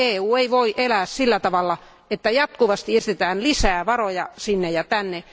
EU ei voi elää sillä tavalla, että jatkuvasti esitetään lisää varoja sinne ja tänne.